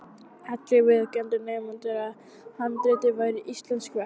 Allir viðurkenndu nefndarmenn að handritin væru íslensk verk.